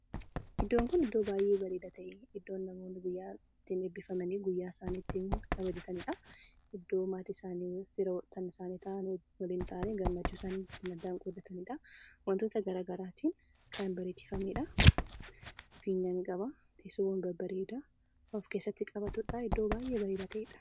Iddoon kun iddo baay'ee bareeda ta'e, iddo namoonni eebbifaman guyyaa isaanii itti kabajatanidha. Iddoo maatii isaaniif firoota isaanii waliin taa'anii gammachuu isaani ittin qooddatanidha. Wantoota gara garatiin kan bareechifamedha. Fiinyaa niiqaba. Teessoowwan babbareedaa kan of keesssatti qabatudha. Iddoo baay'ee bareedaa ta'edha.